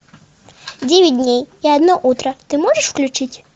девять дней и одно утро ты можешь включить